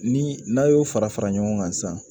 Ni n'a y'o fara fara ɲɔgɔn kan sisan